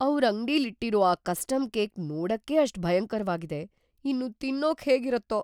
ಅವ್ರ್‌ ಅಂಗ್ಡಿಲಿಟ್ಟಿರೋ ಆ ಕಸ್ಟಮ್‌ ಕೇಕ್‌ ನೋಡಕ್ಕೇ ಅಷ್ಟ್ ಭಯಂಕರ್ವಾಗಿದೆ, ಇನ್ನು ತಿನ್ನೋಕ್‌ ಹೇಗಿರತ್ತೋ!